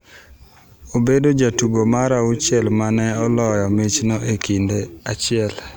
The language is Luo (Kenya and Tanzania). Obedojatugo mar auchiel ma ne oloyo michno e kinde achiel.